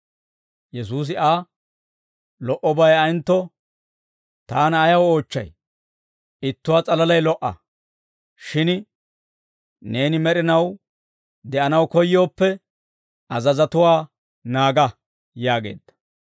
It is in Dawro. Yesuusi Aa, «Lo"obay ayentto taana ayaw oochchay? Ittuwaa s'alalay lo"a; shin neeni med'inaw de'anaw koyyooppe, azazatuwaa naaga» yaageedda.